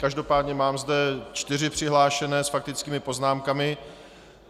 Každopádně zde mám čtyři přihlášené s faktickými poznámkami.